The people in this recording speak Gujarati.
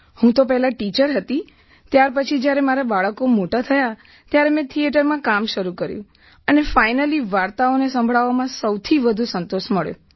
હું તો પહેલાં ટીચર હતી ત્યાર પછી જ્યારે મારા બાળકો મોટા થયા ત્યારે મેં થીયેટરમાં કામ શરૂ કર્યું અને ફાઇનલી વાર્તાઓને સંભળાવવામાં સૌથી વધુ સંતોષ મળ્યો